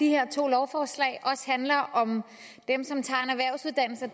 de her to lovforslag også handler om dem som tager